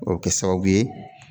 O bi kɛ sababu ye